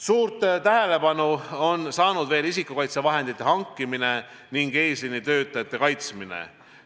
Suurt tähelepanu on saanud veel isikukaitsevahendite hankimine ning eesliinitöötajate kaitsmine.